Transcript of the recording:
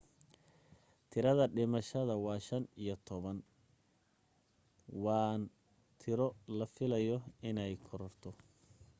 tirada dhimashada waa 15 waan tiro la filayo inee korarto